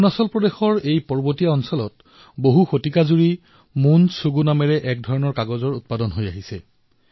অৰুণাচল প্ৰদেশৰ এই পাহাৰীয়া এলেকাত শতিকাজুৰি মোন শুগু নামৰ এক কাগজ প্ৰস্তুত কৰা হয়